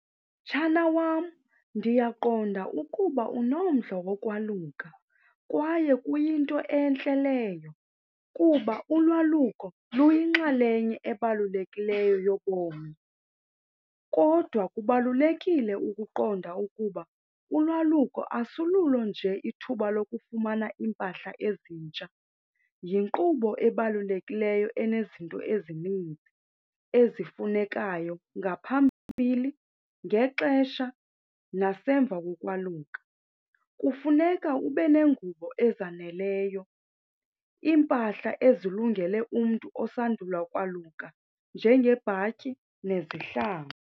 Mtshana wam, ndiyaqonda ukuba unomdla wokwaluka kwaye kuyinto entle leyo kuba ulwaluko luyinxalenye ebalulekileyo yobomi. Kodwa kubalulekile ukuqonda ukuba ulwaluko asululo nje ithuba lokufumana iimpahla ezintsha, yinkqubo ebalulekileyo enezinto ezininzi ezifunekayo ngaphambili, ngexesha nasemva kokwaluka. Kufuneka ube neengubo ezaneleyo, iimpahla ezilungele umntu osandula ukwaluka njengebhatyi nezihlangu.